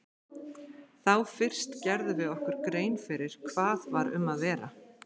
Þá fyrst gerðum við okkur grein fyrir hvað um var að vera.